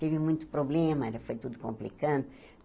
Teve muito problema, ainda foi tudo complicando.